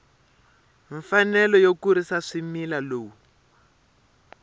mfanelo yo kurisa swimila lowu